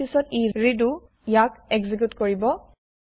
তাৰ পিছত ই ৰিদো ইয়াক এক্সেকিউত কৰিব